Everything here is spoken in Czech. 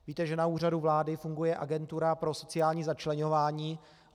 Víte, že na Úřadu vlády funguje Agentura pro sociální začleňování.